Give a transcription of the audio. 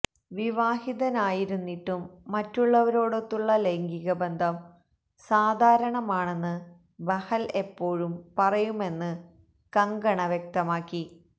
വിവാഹിതനായിരുന്നിട്ടും മറ്റുള്ളവരോടൊത്തുള്ള ലൈംഗികബന്ധം സാധാരണമാണെന്ന് ബഹൽ എപ്പോഴും പറയുമെന്ന് കങ്കണ വ്യക്തമാക്കി